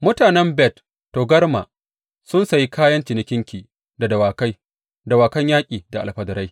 Mutanen Bet Togarma sun sayi kayan cinikinki da dawakai, dawakan yaƙi da alfadarai.